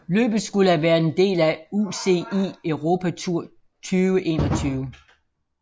Løbet skulle have været en del af UCI Europe Tour 2021